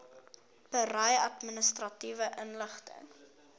berei administratiewe inligting